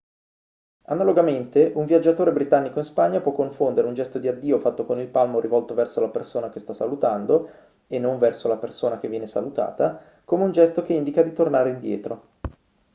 analogamente un viaggiatore britannico in spagna può confondere un gesto di addio fatto con il palmo rivolto verso la persona che sta salutando e non verso la persona che viene salutata come un gesto che indica di tornare indietro